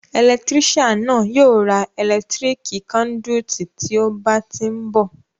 Ẹlẹtírísàn náà yóò ra ẹ̀lẹ́tíríká kándúítì tí ó bá tí ni bọ̀